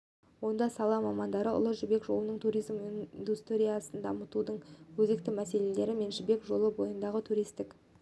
онда сала мамандары ұлы жібек жолында туризм индустриясын дамытудың өзекті мәселелері мен жібек жолы бойындағы туристік